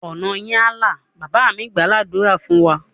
Ọ̀nà yín á là! Bàbá mí gbàá ládùrá fún wa.